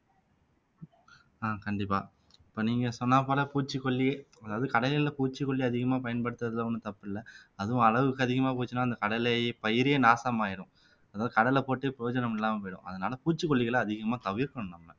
ஆஹ் கண்டிப்பா இப்ப நீங்க சொன்னா போல பூச்சிக்கொல்லி அதாவது கடலைல பூச்சிக்கொல்லி அதிகமா பயன்படுத்தறதுல ஒண்ணும் தப்பு இல்லை அதுவும் அளவுக்கு அதிகமா போச்சுனா அந்த கடலை பயிரே நாசமாயிரும் அதாவது கடலை போட்டு பிரயோஜனம் இல்லாம போயிடும் அதனால பூச்சிக்கொல்லிகளை அதிகமா தவிர்க்கணும் நாம